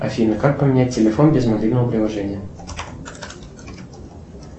афина как поменять телефон без мобильного приложения